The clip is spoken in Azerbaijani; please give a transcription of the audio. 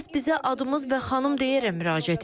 Hər kəs bizə adımız və xanım deyərəm müraciət edir.